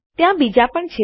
ત્યાં બીજા પણ છે